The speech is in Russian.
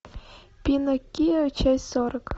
пиноккио часть сорок